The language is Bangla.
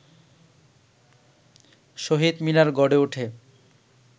শহীদ মিনার গড়ে ওঠে